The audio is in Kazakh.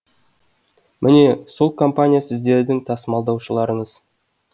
міне сол компания сіздердің тасымалдаушыларыңыз